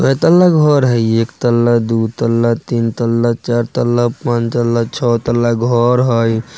कए तल्ला घर हेय एक तल्ला दु तल्ला तीन तल्ला चार तल्ला पांच तल्ला छ तल्ला घर हेय।